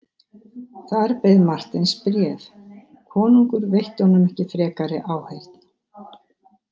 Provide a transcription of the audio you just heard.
Þar beið Marteins bréf, konungur veitti honum ekki frekari áheyrn.